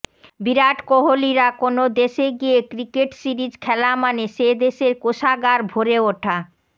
বিরাট কোহালিরা কোনও দেশে গিয়ে ক্রিকেট সিরিজ খেলা মানে সে দেশের কোষাগার ভরে ওঠা